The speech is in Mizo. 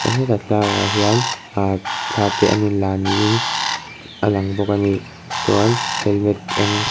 hetah thlalak ah hian ah thla te an in la niin a lang bawk ani chuan helmet eng--